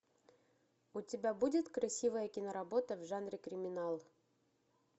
у тебя будет красивая киноработа в жанре криминал